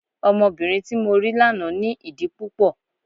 Ọmọbìnrin tí mo rí lánàá ní ìdí púpọ̀.